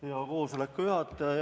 Hea koosoleku juhataja!